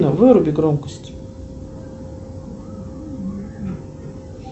выруби громкость